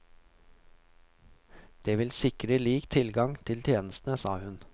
Det vil sikre lik tilgang til tjenestene, sa hun.